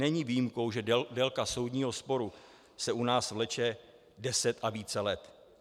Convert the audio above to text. Není výjimkou, že délka soudního sporu se u nás vleče deset a více let.